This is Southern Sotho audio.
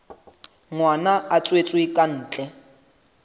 ngwana a tswetswe ka ntle